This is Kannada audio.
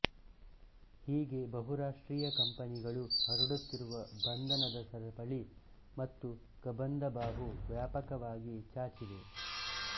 ಹೀಗೆ ಬಹು ರಾಷ್ಟ್ರೀಯ ಕಂಪನಿಗಳು ಹರಡುತ್ತಿರುವ ಬಂಧನದ ಸರಪಳಿ ಮತ್ತು ಕಬಂಧಬಾಹು ವ್ಯಾಪಕವಾಗಿ ಚಾಚಿವೆ